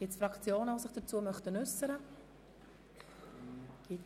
Gibt es Fraktionen, die sich zu diesem Geschäft äussern möchten?